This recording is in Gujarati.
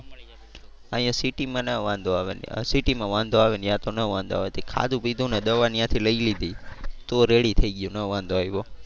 અહિયાં સિટી માં ના વાંધો આવે સિટી માં વાંધો આવે. ત્યાં તો ના વાંધો આવે તે ખાધું પીધું ને દવા ત્યાં થી લઈ લીધી તો ready થઈ ગયું ના વાંધો આવ્યો.